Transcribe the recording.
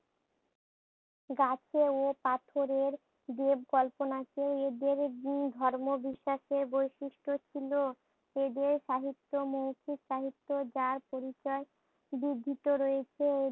গাছে ও পাথরের দেব কল্পনাকে এদের গুণ ধর্ম বিশ্বাস এ বৈশিষ্ট ছিল এদের সাহিত্য মৌখিক সাহিত্য যার পরিচয় বৃদ্ধিত রয়েছে